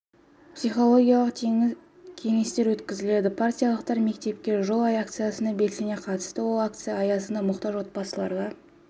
психологиялық тегін кеңестер өткізіледі партиялықтар мектепке жол акциясына белсене қатысты ол акция аясында мұқтаж отбасыларға